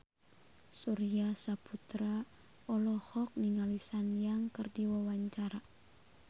Surya Saputra olohok ningali Sun Yang keur diwawancara